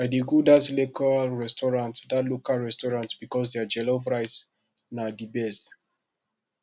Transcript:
i dey go dat local restaurant dat local restaurant because their jollof rice na di best